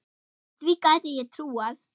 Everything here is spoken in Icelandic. Því gæti ég trúað